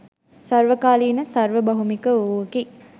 සර්වකාලීන, සර්ව භෞමික වූවකි.